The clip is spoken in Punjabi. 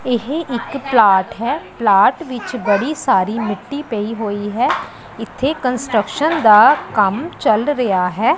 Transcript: ਇਹ ਇੱਕ ਪਲਾਟ ਹੈ ਪਲਾਟ ਵਿਚ ਬੜੀ ਸਾਰੀ ਮਿੱਟੀ ਪਯੀ ਹੋਇ ਹੈ ਇਥੇ ਕੰਸਟਰਕਸ਼ਨ ਦਾਂ ਕੰਮ ਚੱਲ ਰਿਹਾ ਹੈ।